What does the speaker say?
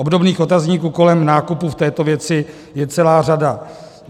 Obdobných otazníků kolem nákupu v této věci je celá řada.